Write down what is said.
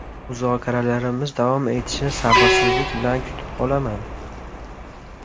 Muzokaralarimiz davom etishini sabrsizlik bilan kutib qolaman.